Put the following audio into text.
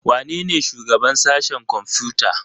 Wanene shugaban sashen kwamfuta?